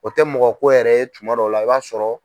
O tɛ mɔgɔ ko yɛrɛ ye tuma dɔ la i b'a sɔrɔ.